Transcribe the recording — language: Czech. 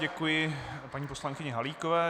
Děkuji paní poslankyni Halíkové.